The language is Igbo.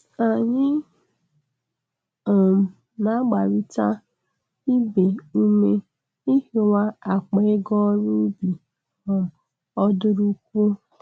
Anyị um na-agbarịta ibe ume ihiwa akpa ego ọru ụbi um odụrụkuọ